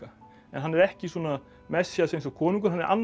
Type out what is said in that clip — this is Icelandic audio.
en hann er ekki svona Messías eins og konungur hann er annars